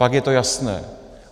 Pak je to jasné.